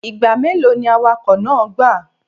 Igba melo ni awakọ naa gba?